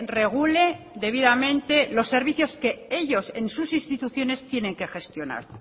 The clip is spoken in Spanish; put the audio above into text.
regule debidamente los servicios que ellos en sus instituciones tienen que gestionar